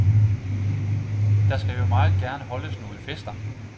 Der skal jo meget gerne holdes nogle fester.